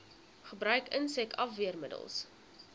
gebruik insek afweermiddels